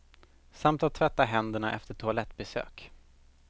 Samt att tvätta händerna efter toalettbesök.